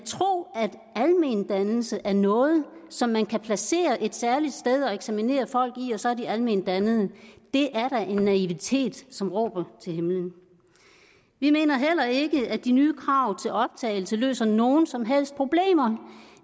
almendannelse er noget som man kan placere et særligt sted og eksaminere folk i og så er de alment dannede er da en naivitet som råber til himlen vi mener heller ikke at de nye krav til optagelse løser nogen som helst problemer